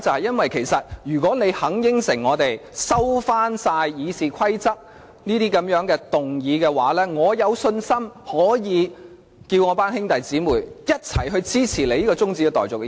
因為，如果他答應我們，收回所有修改《議事規則》的議案，我有信心可以請我的兄弟姊妹一起支持此項中止待續議案。